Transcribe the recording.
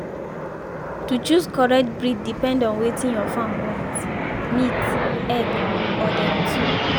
to choose correct breed depend on wetin your farm want—meat egg or them two